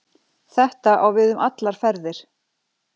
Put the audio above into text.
Þetta á við um allar ferðir